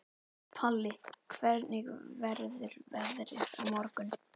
Palli, hvernig verður veðrið á morgun?